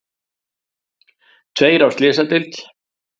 Tveir á slysadeild